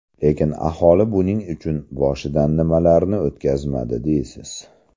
Lekin aholi buning uchun boshidan nimalarni o‘tkazmadi deysiz.